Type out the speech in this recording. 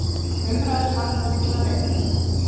Umræðan vakti mikla reiði.